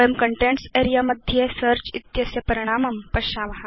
वयं contents area मध्ये search इत्यस्य परिणामं पश्याम